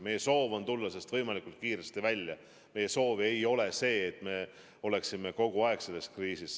Meie soov on tulla sellest võimalikult kiiresti välja, meie soov ei ole see, et me oleksime kogu aeg selles kriisis.